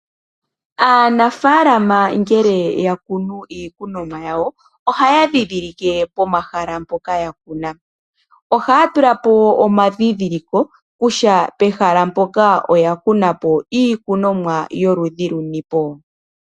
Aanafaalama ngele yakunu iikunomwa yawo, ohaya dhidhilike pomahala mpoka yakuna. Ohaya tula po omadhidhiliko kutya pehala mpoka oyakuna po iikunomwa yoludhi luni po.